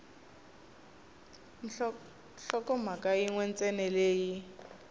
nhlokomhaka yin we ntsena leyi